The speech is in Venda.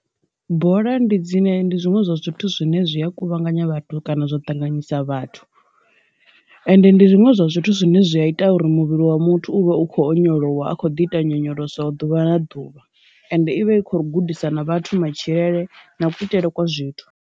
Bola ndi dzine ndi zwiṅwe zwa zwithu zwine zwi a kuvhanganya vhathu kana zwo ṱanganyisa vhathu, ende ndi zwiṅwe zwa zwithu zwine zwi a ita uri muvhili wa muthu u vha u kho onyolowa a kho ḓi ita nyonyoloso ḓuvha na ḓuvha ende ivha i kho gudisa na vhathu matshilele na kuitele kwa zwithu.